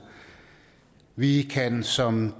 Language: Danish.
vi kan som